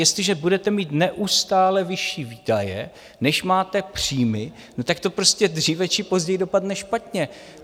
Jestliže budete mít neustále vyšší výdaje, než máte příjmy, tak to prostě dříve či později dopadne špatně.